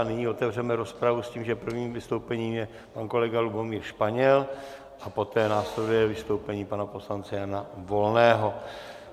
A nyní otevřeme rozpravu s tím, že prvním vystoupením je pan kolega Lubomír Španěl a poté následuje vystoupení pana poslance Jana Volného.